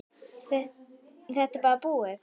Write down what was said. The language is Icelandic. Er þetta bara búið?